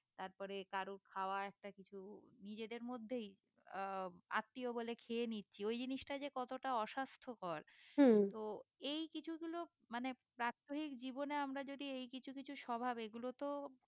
তারপরে কারুর খাওয়া একটা কিছু নিজেদের মধ্যেই আহ আত্মীয় বলে খেয়ে নিচ্ছি ওই জিনিষটা যে কতটা অস্বাস্থকর তো এই কিছু গুলো মানে প্রাত্যহিক জীবনে আমরা যদি এই কিছু কিছু স্বভাব এই গুলোতে